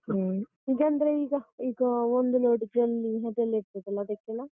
ಹ್ಮ್ ಇದಂದ್ರೆ ಈಗ ಈಗ ಒಂದು load ಜಲ್ಲಿ ಅದೆಲ್ಲ ಇರ್ತದಲ್ಲ ಅದಕ್ಕೆಲ್ಲ?